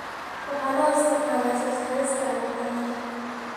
Waxaa loo isticmaalaa soo saarista cabitaannada.